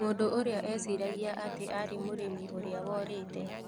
Mũndũ ũrĩa eciragia atĩ arĩ mũrĩmi ũrĩa worĩte .